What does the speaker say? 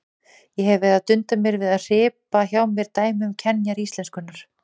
Ég hef verið að dunda við að hripa hjá mér dæmi um kenjar íslenskunnar.